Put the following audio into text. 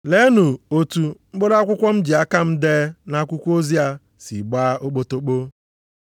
Leenu otu mkpụrụ akwụkwọ m ji aka m dee nʼakwụkwọ ozi a si gbaa okpotokpo.